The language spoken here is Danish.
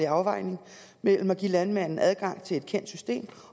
afvejning mellem at give landmanden adgang til et kendt system